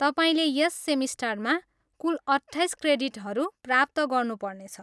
तपाईँले यस सेमिस्टरमा कुल अट्ठाइस क्रेडिटहरू प्राप्त गर्नुपर्नेछ।